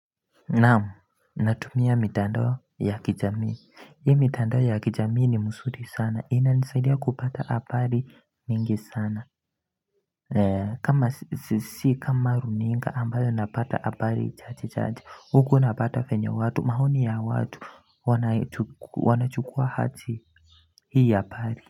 Naam, natumia mitando ya kijamii, hii mitando ya kijamii ni mzuuri sana, ina nisaidia kupata abari mingi sana si kama runinga ambayo napata abari chache chache, huku napata venye watu, maoni ya watu, wanachukua aje hii habari.